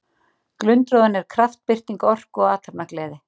Glundroðinn er kraftbirting orku og athafnagleði.